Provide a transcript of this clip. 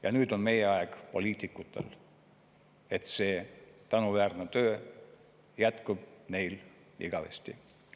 Ja nüüd on aeg, et meie, poliitikud, teeksime kõik, et see tänuväärne töö jätkuks neil igavesti.